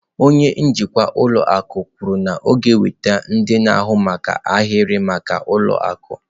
Onye njikwa ụlọ akụ kwuru na ọ ga-enweta ndị na-ahụ maka ahịrị maka ụlọ akụ.